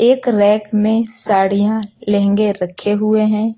एक रैक में साड़ियां लहंगे रखे हुए हैं।